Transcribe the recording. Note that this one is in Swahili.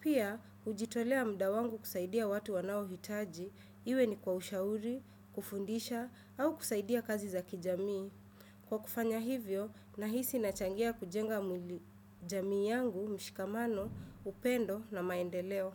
Pia, hujitolea muda wangu kusaidia watu wanaohitaji, iwe ni kwa ushauri, kufundisha au kusaidia kazi za kijamii. Kwa kufanya hivyo, nahisi nachangia kujenga jamii yangu, mshikamano, upendo na maendeleo.